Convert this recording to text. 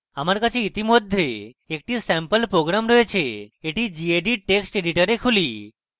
আমার কাছে ইতিমধ্যে একটি স্যাম্পল program রয়েছে এটি gedit text editor খুলি